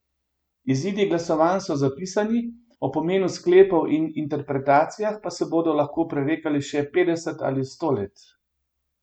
Izidi glasovanj so zapisani, o pomenu sklepov in interpretacijah pa se bodo lahko prerekali še petdeset ali sto let.